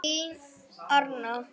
Þín Arna.